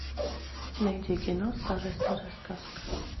найди кино старая старая сказка